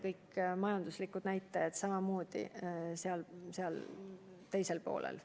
Kõik majanduse näitajad on samamoodi seal teisel poolel.